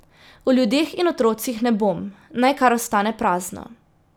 O ljudeh in otrocih ne bom, naj kar ostane prazno.